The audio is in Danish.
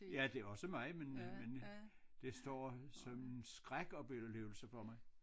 Ja det også mig men men det står som en skrækoplevelse for mig